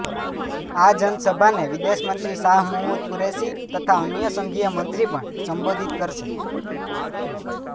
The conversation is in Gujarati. આ જનસભાને વિદેશ મંત્રી શાહ મહમૂદ કુરેશી તથા અન્ય સંઘીય મંત્રી પણ સંબોધિત કરશે